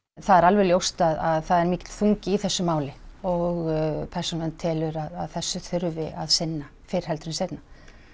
það er alveg ljóst að það er mikill þungi í þessu máli og Persónuvernd telur að þessu þurfi að sinna fyrr heldur en seinna